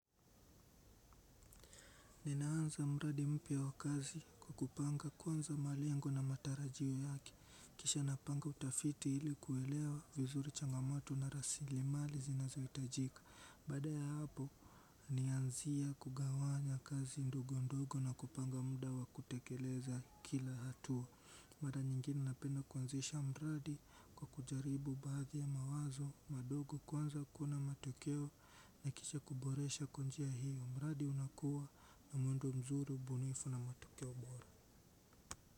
Ninaanza mradi mpya wakazi kwa kupanga kwanza malengo na matarajiwa yake. Kisha napanga utafiti hili kuelewa vizuri changamoto na rasili mali zinazo itajika. Baada ya hapo, nianzia kugawanya kazi ndogo ndogo na kupanga muda wa kutekeleza kila hatua. Mara nyingine napenda kuanzisha mradi kwa kujaribu baadhi ya mawazo madogo kwanza kuna matokeo yakicha kuboresha kwa njia hiyo. Almradi unakuwa na muundo mzuri, ubunifu na matokeo bora.